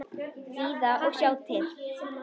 Bíða og sjá til.